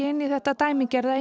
inn í þetta dæmigerða